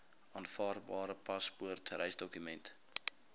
aanvaarbare paspoort reisdokument